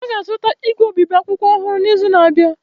Ha ga-azụta igwe obibi akwụkwọ ọhụrụ n’izu na-abịa.